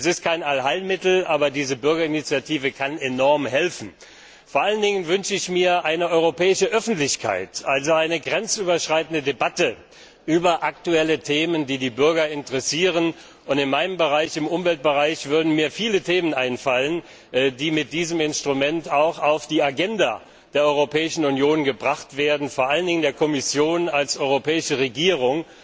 Diese Bürgerinitiative ist kein Allheilmittel, aber kann enorm helfen. Vor allen Dingen wünsche ich mir eine europäische Öffentlichkeit, also eine grenzüberschreitende Debatte über aktuelle Themen, die die Bürger interessieren. In meinem Bereich im Umweltbereich würden mir viele Themen einfallen, die mit diesem Instrument auf die Agenda der Europäischen Union gebracht werden können, vor allen Dingen auf die der Kommission als europäischer Regierung,